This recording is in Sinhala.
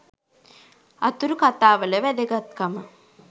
අතුරු කතාවල වැදගත්කම